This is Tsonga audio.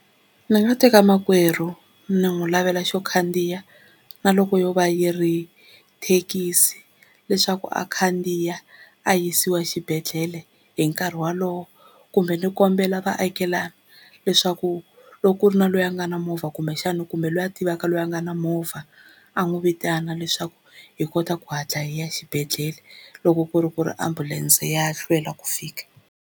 Ndzi nga teka makwerhu ni n'wi lavela xo khandziya na loko yo va yi ri thekisi leswaku a khandziya a yisiwa xibedhlele hi nkarhi wolowo, kumbe ni kombela vaakelani leswaku loko ku ri na loyi a nga na movha kumbexana kumbe loyi a tivaka loyi a nga na movha a n'wi vitana leswaku hi kota ku hatla hi ya exibedhlele loko ku ri ku ri ambulense ya hlwela ku fika.